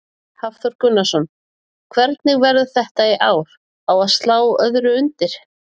Hafþór Gunnarsson: Hvernig verður þetta í ár, á að slá öðru undir?